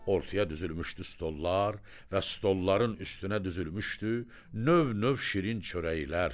Ortaya düzülmüşdü stollar və stolların üstünə düzülmüşdü növ-növ şirin çörəklər.